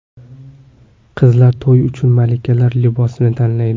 Qizlar to‘y uchun malikalar libosini tanlaydi.